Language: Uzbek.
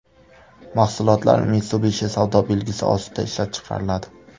Mahsulotlar Mitsubishi savdo belgisi ostida ishlab chiqariladi.